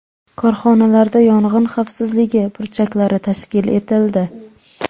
Korxonalarda yong‘in xavfsizligi burchaklari tashkil etildi.